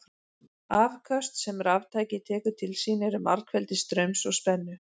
Afköst sem raftæki tekur til sín eru margfeldi straums og spennu.